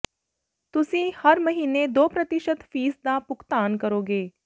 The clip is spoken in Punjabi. ਤੁਸੀਂ ਹਰ ਮਹੀਨੇ ਦੋ ਪ੍ਰਤੀਸ਼ਤ ਫ਼ੀਸ ਦਾ ਭੁਗਤਾਨ ਕਰੋਗੇ